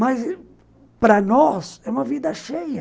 Mas, para nós, é uma vida cheia.